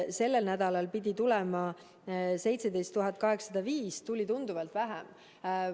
Sellel nädalal pidi tulema 17 805 doosi, tuli tunduvalt vähem.